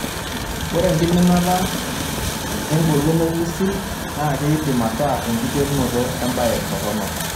Ore enkiminata engolon olng'usil naaa keidim ataa enkiterunoto embae toronok.